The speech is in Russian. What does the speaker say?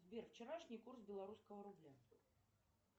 сбер вчерашний курс белорусского рубля